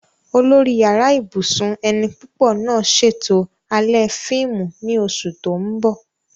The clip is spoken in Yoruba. Olórí Yàrá ibùsùn ẹni púpọ̀ náà ṣètò alẹ́ fíìmù ní oṣù tó ń bọ̀